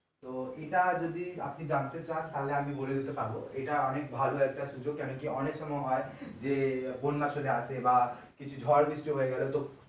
তো এটা যদি আপনি জানতে চান তাহলে আমি বলে দিতে পারবো এটা একটা অনেক ভালো একটা সুযোগ কেন কি অনেক সময় হয় যে বন্যা চলে আসে বা কিছু ঝড় বৃষ্টি হয়ে গেলো তো